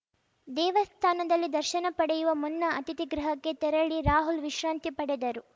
ದೇವಸ್ಥಾನದಲ್ಲಿ ದರ್ಶನ ಪಡೆಯುವ ಮುನ್ನ ಅತಿಥಿಗೃಹಕ್ಕೆ ತೆರಳಿ ರಾಹುಲ್‌ ವಿಶ್ರಾಂತಿ ಪಡೆದರು